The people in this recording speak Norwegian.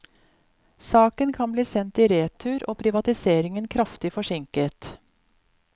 Saken kan bli sendt i retur, og privatiseringen kraftig forsinket.